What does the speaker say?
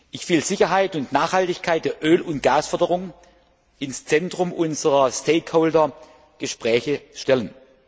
Ich will Sicherheit und Nachhaltigkeit der Öl und Gasförderung ins Zentrum unserer Stakeholder Gespräche stellen.